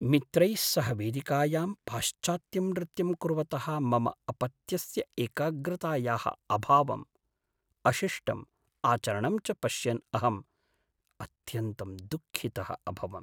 मित्रैः सह वेदिकायां पाश्चात्त्यं नृत्यं कुर्वतः मम अपत्यस्य एकाग्रतायाः अभावं, अशिष्टम् आचरणं च पश्यन् अहम् अत्यन्तं दुःखितः अभवम्।